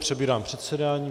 Přebírám předsedání.